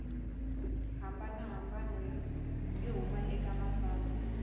hambanahambana yo huma eka matsalwa